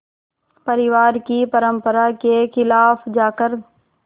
परिवार की परंपरा के ख़िलाफ़ जाकर